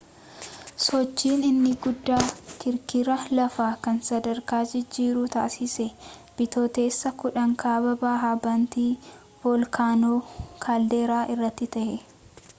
sochiin inni guddaan kirkira lafaa kan sadarkaa jijjiiruu taasise bitooteessa 10 kaaba bahaa bantii volkaanoo kaalderaa irratti ta'e